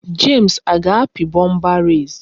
James a ga-api bomba res?